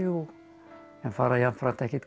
en fara jafnframt ekkert